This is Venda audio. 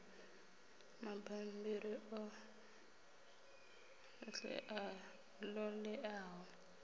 mabammbiri oṱhe a ṱo ḓeaho